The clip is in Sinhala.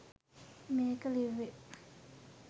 මේක ලිව්වේ